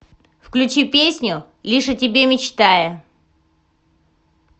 включи песню лишь о тебе мечтая